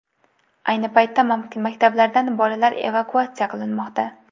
Ayni paytda maktablardan bolalar evakuatsiya qilinmoqda.